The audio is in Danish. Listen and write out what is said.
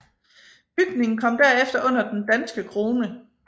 Bygningerne kom derefter under den danske krone